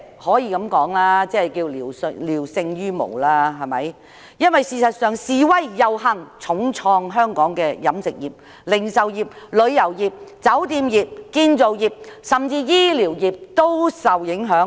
我會說句，這措施是聊勝於無，因為遊行示威已重創香港的飲食業、零售業、旅遊業、酒店業和建造業，甚至醫療業亦受影響。